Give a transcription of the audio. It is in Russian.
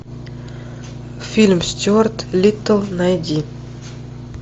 фильм стюарт литтл найди